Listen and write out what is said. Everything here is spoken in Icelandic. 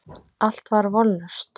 Allt var vonlaust.